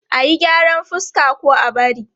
A yi gyaran fuska ko a bari?